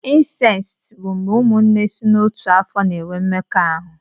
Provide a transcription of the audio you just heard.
Incesti bụ mgbé ụmụnne sị n'ọtu afọ na-enwe mmekọ ahụ.